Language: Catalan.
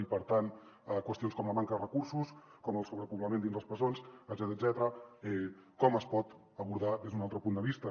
i per tant qüestions com la manca de recursos com el sobrepoblament dins les presons etcètera com es poden abordar des d’un altre punt de vista